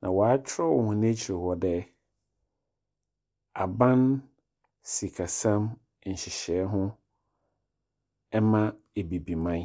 Na wɔakyerɛw hɔn ekyir hɔ dɛ Aban Sikasɛm Nhyehyɛɛ ho ma Ebibiman.